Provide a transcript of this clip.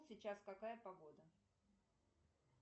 сейчас какая погода